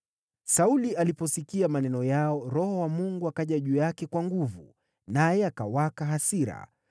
Sauli aliposikia maneno yao, Roho wa Mungu akaja juu yake kwa nguvu, naye akawaka hasira.